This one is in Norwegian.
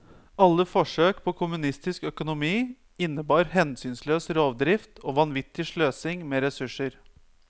Alle forsøk på kommunistisk økonomi innebar hensynsløs rovdrift og vanvittig sløsing med ressurser.